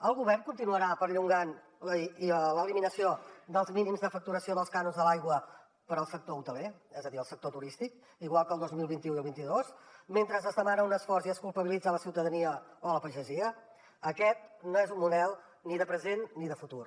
el govern continuarà perllongant l’eliminació dels mínims de facturació dels cànons de l’aigua per al sector hoteler és a dir el sector turístic igual que el dos mil vint u i el vint dos mentre es demana un esforç i es culpabilitza la ciutadania o la pagesia aquest no és un model ni de present ni de futur